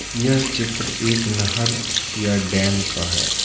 यह चित्र एक नहर या डैम का है।